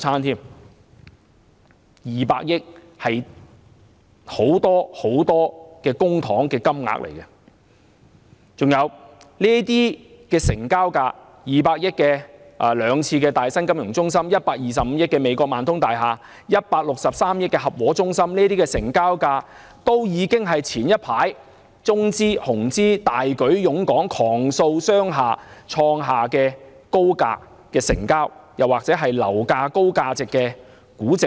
二百億元是非常龐大的公帑金額，這些成交價 ——200 億元可買兩次大新金融中心、125億元買美國萬通大廈、163億元買合和中心——已是早前中資、紅資大舉湧港狂掃商廈時創下的最高成交價或較高估值。